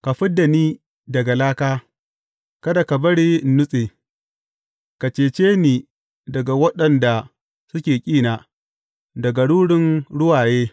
Ka fid da ni daga laka, kada ka bari in nutse; ka cece ni daga waɗanda suke ƙina, daga rurin ruwaye.